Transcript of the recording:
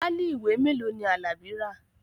Páálí ìwé mélòó ni Alabi rà?